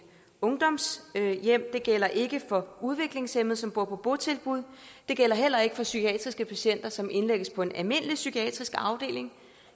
ungdomshjem det gælder ikke for udviklingshæmmede som bor på botilbud det gælder heller ikke for psykiatriske patienter som indlægges på en almindelig psykiatrisk afdeling